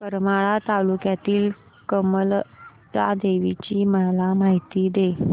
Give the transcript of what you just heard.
करमाळा तालुक्यातील कमलजा देवीची मला माहिती दे